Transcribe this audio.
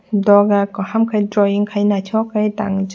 doga kaham ke drawing ke naitok ke tang.